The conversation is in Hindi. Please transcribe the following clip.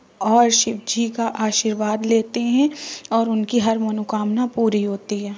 और शिव जी का आशीर्वाद लेते हैं और उनकी हर मनोकामना पूरी होती है।